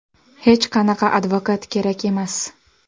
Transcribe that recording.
Hech qanaqa advokat kerak emas.